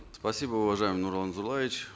спасибо уважаемый нурлан зайроллаевич